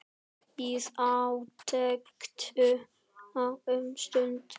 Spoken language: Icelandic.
Bíð átekta um stund.